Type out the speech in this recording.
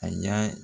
A y'a